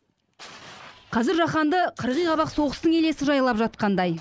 қазір жаһанды қырғи қабақ соғыстың елесі жайлап жатқандай